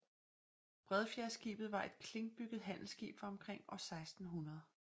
Bredfjedskibet var et klinkbygget handelsskib fra omkring år 1600